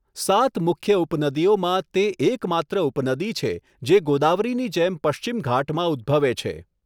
સાત મુખ્ય ઉપનદીઓમાં, તે એકમાત્ર ઉપનદી છે જે ગોદાવરીની જેમ પશ્ચિમ ઘાટમાં ઉદ્દભવે છે.